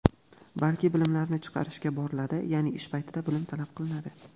balki bilimlarni chiqarishga boriladi (yaʼni ish paytida bilim talab qilinadi);.